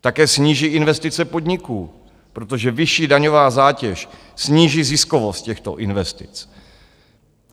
Také sníží investice podniků, protože vyšší daňová zátěž sníží ziskovost těchto investic.